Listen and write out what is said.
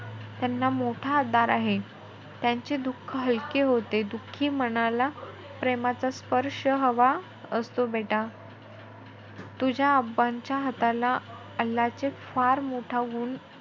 त्यांना मोठा आधार आहे. त्यांचे दुःख हलके होते. दुखी मनाला प्रेमाचा स्पर्श हवा असतो बेटा. तुझ्या च्या हाताला अल्लाचे फार मोठा गुण,